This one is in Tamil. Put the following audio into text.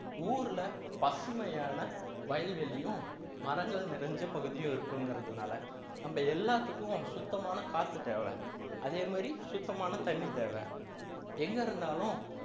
ஊர்ல பசுமையான வயல்வெளியும் மரங்கள் நிறைந்த பகுதியும் இருக்குங்கிறதுனால நம்ம எல்லாத்துக்கும் சுத்தமான காற்று தேவை அதே மாதிரி சுத்தமான தண்ணி தேவை எங்க இருந்தாலும்